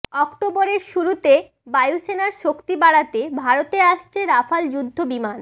অক্টোবরের শুরুতেই বায়ুসেনার শক্তি বাড়াতে ভারতে আসছে রাফাল যুদ্ধবিমান